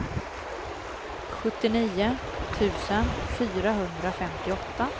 sjuttionio tusen fyrahundrafemtioåtta